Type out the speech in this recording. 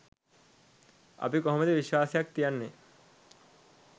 අපි කොහොමද විශ්වාසයක් තියන්නේ